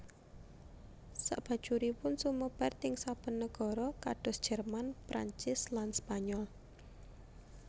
Sakbajuripun sumebar ting saben nagara kados Jerman Perancis lanSpanyol